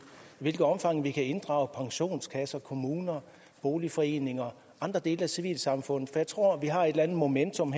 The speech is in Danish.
hvilket omfang vi kunne inddrage pensionskasser kommuner boligforeninger og andre dele af civilsamfundet for jeg tror at vi har et eller andet momentum